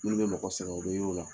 Minnu bɛ mɔgɔ sɛgɛn a dumuniw la